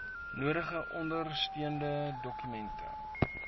nodige ondersteunende dokumente